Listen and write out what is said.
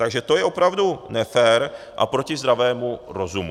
Takže to je opravdu nefér a proti zdravému rozumu.